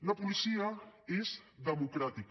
la policia és democràtica